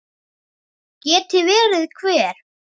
Geti verið hver?